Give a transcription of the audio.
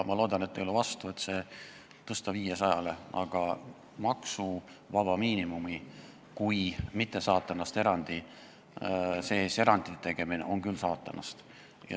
Ma loodan, et te ei ole vastu, et see tõsta 500 eurole, aga kui teha maksuvaba miinimumi kui mitte saatanast oleva erandi sees erand, siis see on küll saatanast.